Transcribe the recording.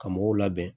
Ka mɔgɔw labɛn